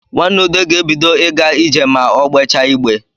Nwa ude ga-ebido ịga ije ma o gbejaa igbe